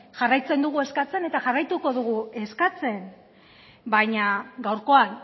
jarraitzen dugu eskatzen eta jarraituko dugu eskatzen baina gaurkoan